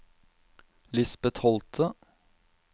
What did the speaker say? Lisbet Holte